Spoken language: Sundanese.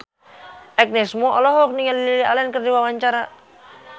Agnes Mo olohok ningali Lily Allen keur diwawancara